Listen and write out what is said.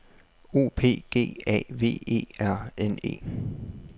O P G A V E R N E